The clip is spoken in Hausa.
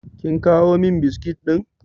Kin kawo min biskit ɗin?